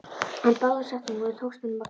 En báðum setningunum tókst honum að gleyma.